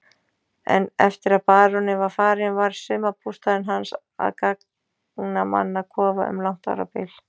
En eftir að baróninn var farinn varð sumarbústaðurinn hans að gangnamannakofa um langt árabil.